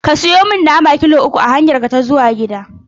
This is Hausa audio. Ka siyo mi nama kilo uku a hanyarka ta komawa gida.